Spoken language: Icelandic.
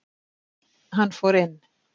Hann fór inn.